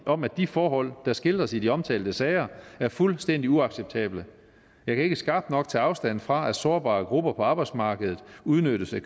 om at de forhold der skildres i de omtalte sager er fuldstændig uacceptable jeg kan ikke skarpt nok tage afstand fra at sårbare grupper på arbejdsmarkedet udnyttes af